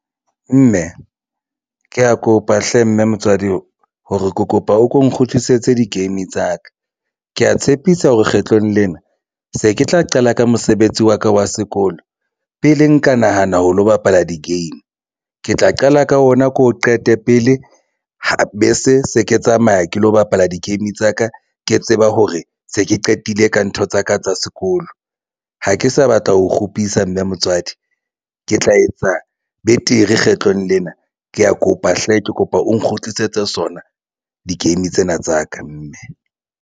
Mme ke ya kopa hle mme motswadi hore ke kopa o ko nkgutlisetse di-game tsa ka, ke ya tshepisa hore kgetlong lena se ke tla qala ka mosebetsi wa ka wa sekolo pele nka nahana ho lo bapala di-game ke tla qala ka ona, ke o qete pele bese se ke tsamaya ke lo bapala di-game tsa ka ke tseba hore se ke qetile ka ntho tsaka tsa sekolo bolo ha ke sa batla ho kgupisa mme motswadi ke tla etsa betere kgetlong lena ke ya kopa hle ke kopa o nkgutlisetse sona di-game tsena tsa ka mme.